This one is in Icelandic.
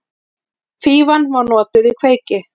Fífan var notuð í kveiki.